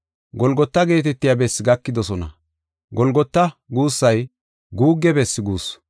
Golgota geetetiya bessi gakidosona. “Golgota” guussay “Guugge bessi” guussu.